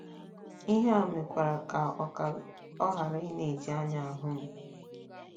Ihe a mekwara ka ọ ka ọ ghara ịna - eji anya ahụ m.